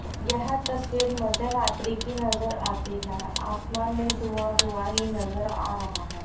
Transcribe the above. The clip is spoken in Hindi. यह तस्वीर मध्यरात्रि की नजर आती हैं आसमान में धुआं धुआं ही नजर आ रहा है।